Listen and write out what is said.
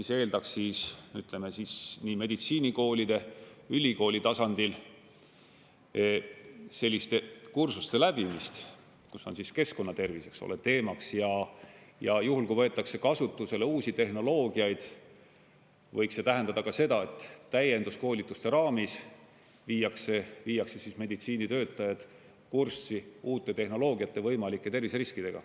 See eeldaks siis, ütleme siis, nii meditsiinikoolide, ülikooli tasandil selliste kursuste läbimist, kus on siis keskkonnatervis teemaks ja juhul, kui võetakse kasutusele uusi tehnoloogiaid, võiks see tähendada ka seda, et täienduskoolituste raames viiakse meditsiinitöötajad kurssi uute tehnoloogiate võimalike terviseriskidega.